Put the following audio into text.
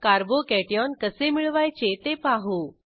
carbo cation कसे मिळवायचे ते पाहू